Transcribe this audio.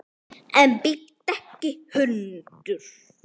En bíttu ekki hundur!